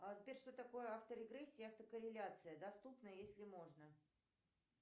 сбер что такое авторегрессия и автокорреляция доступно если можно